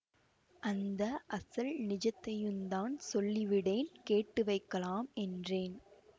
அந்த அசல் நிஜத்தையுந்தான் சொல்லிவிடேன் கேட்டு வைக்கலாம் என்றேன்